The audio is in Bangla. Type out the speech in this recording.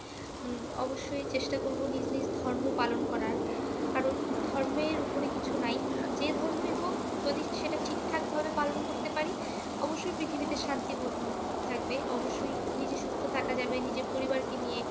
উম অবশ্যই চেষ্টা করব নিজ নিজ ধর্ম পালন করার, কারণ ধর্মের উপরে কিছু নাই। যে ধর্মই হোক যদি সেটা ঠিকঠাকভাবে পালন করতে পারি, অবশ্যই পৃথিবীতে শান্তি থাকবে, অবশ্যই নিজে সুস্থ থাকা যাবে, নিজের পরিবারকে নিয়ে